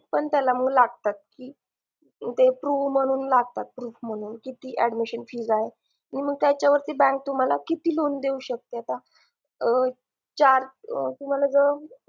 पण त्याला मंग लागतात की proof म्हणून लागतात proof म्हणून लागतात म्हणजे किती admission fees आहे मग त्याच्यावरती bank आता तुम्हाला किती loan देऊ शकते आता चार